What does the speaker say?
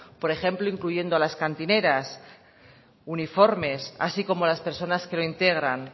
por ejemplo incluyendo a las cantineras uniformes así como las personas que lo integran